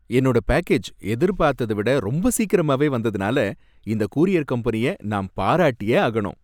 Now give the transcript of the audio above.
என்னோட பேக்கேஜ் எதிர்பார்த்தத விட ரொம்ப சீக்கிரமாவே வந்ததுனால இந்த கூரியர் கம்பெனிய நான் பாராட்டியே ஆகணும்.